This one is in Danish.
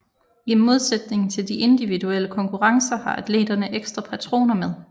I modsætning til de individuelle konkurrencer har atleterne ekstra patroner med